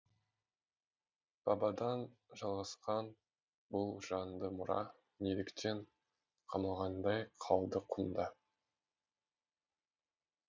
бабадан жалғасқан бұл жанды мұра неліктен қамалғандай қалды құмда